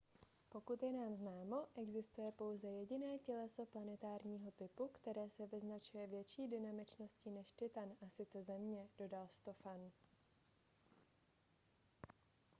pokud je nám známo existuje pouze jediné těleso planetárního typu které se vyznačuje větší dynamičností než titan a sice země dodal stofan